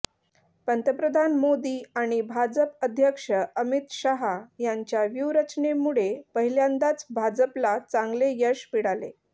पंतप्रधान मोदी आणि भाजप अध्यक्ष अमित शहा यांच्या व्यूहरचनेमुळे पहिल्यांदाच भाजपला चांगले यश मिळाले